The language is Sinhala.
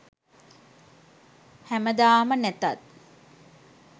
හැමදාම නැතත්